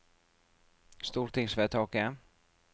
stortingsvedtaket